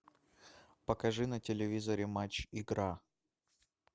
покажи на телевизоре матч игра